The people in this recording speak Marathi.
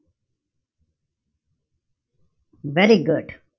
Very good.